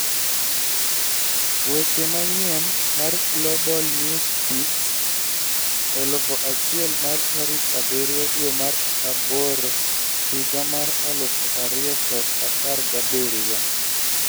Weche manyien mar Global Newsbeat 1000 mar tarik abirio dwee mar abor higa mar alufu ariyo kod apargabirio